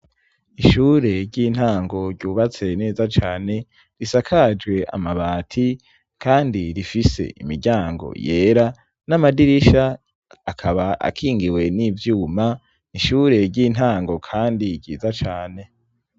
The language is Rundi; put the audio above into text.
Ishure ry'intango ryubatse neza cane, risakajwe amabati kandi rifise imiryango yera, n'amadirisha akaba akingiwe n'ivyuma, n'ishure ry'intango kandi ryiza cane.